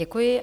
Děkuji.